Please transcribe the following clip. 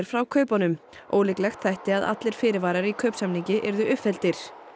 frá kaupunum ólíklegt þætti að allir fyrirvarar í kaupsamningi yrðu uppfylltir